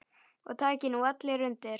Og taki nú allir undir.